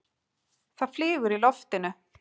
Það flýgur í loftinu.